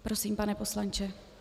Prosím, pane poslanče.